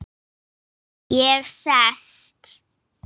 Ég sest.